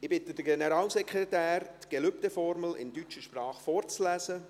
Ich bitte den Generalsekretär, die Gelübdeformel in deutscher Sprache vorzulesen.